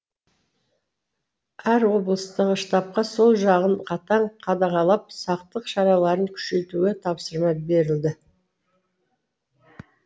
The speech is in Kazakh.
әр облыстағы штабқа сол жағын қатаң қадағалап сақтық шараларын күшейтуге тапсырма берілді